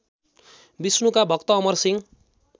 विष्णुका भक्त अमरसिंह